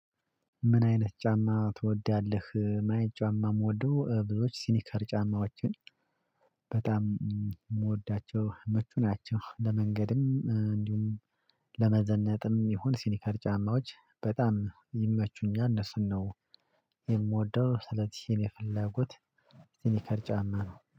ምን አይነት ጫማ ትወዳለህ? ማየት ጫማ የምወደው ብዙዎች ሲኒከር ጫማዎችን በጣም የምወዳቸው መቹ ናቸው። ለመንገድም እንዲሁም ለመዘነጥም ይሁን ሲኒከር ጫማዎች በጣም ይመቹኛል እነሱን ነው የምወደው። ስለዚህ የፍላጎት የፈለጉት ሲኒከር ጫማ ነው